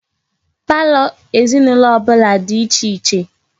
Palọ ezinaulo obula di iche iche